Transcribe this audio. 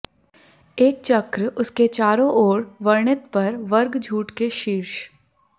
एक चक्र उसके चारों ओर वर्णित पर वर्ग झूठ के शीर्ष